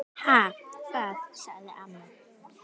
"""Ha, hvað? sagði amma."""